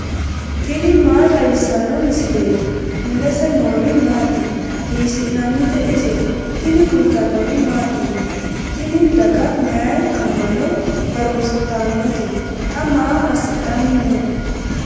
tini maa xawissanno misileeti ? mulese noori maati ? hiissinannite ise ? tini kultannori mattiya? tini daga mayi ama'no harunsittannote? xa maa asidhanni noo?